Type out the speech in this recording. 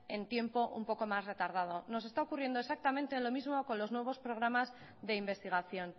en tiempo un poco más retardado nos está ocurriendo exactamente lo mismo con los nuevos programas de investigación